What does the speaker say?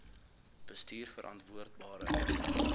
bestuurverantwoordbare